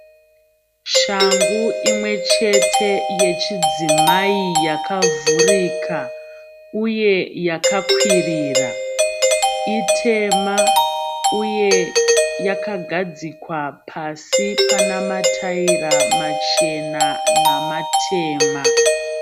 Shangu imwechete yechidzimai yakavhurika, uye yakakwirira. Itema uye yakagadzikwa pasi panamataira machena namatema.